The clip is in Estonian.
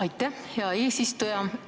Aitäh, hea eesistuja!